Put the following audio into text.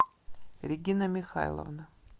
регина михайловна